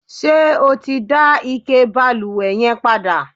ṣé o ti dá ike ìbalùwẹ̀ yẹn padà?